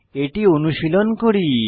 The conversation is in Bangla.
এটি অনুশীলন করি